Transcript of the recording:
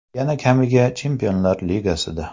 Yana kamiga Chempionlar Ligasida.